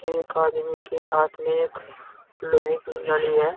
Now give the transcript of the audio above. एक आदमी के हाथ में एक लोहे की लड़ी है।